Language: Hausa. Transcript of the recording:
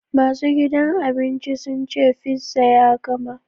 Masu gidan abincin sun ce fizza ya gama.